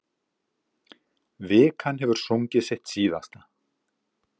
Vikan hefur sungið sitt síðasta.